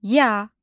Ya.